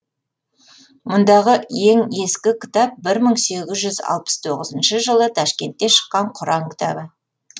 мұндағы ең ескі кітап бір мың сегіз жүз алпыс тоғызыншы жылы ташкентте шыққан құран кітабы